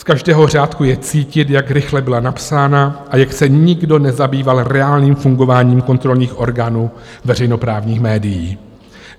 Z každého řádku je cítit, jak rychle byla napsána a jak se nikdo nezabýval reálným fungováním kontrolních orgánů veřejnoprávních médií.